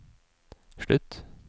slutt